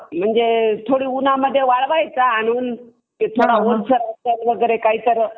म्हणजे थोडा उन्हामध्ये वळवायचा आणि काही तर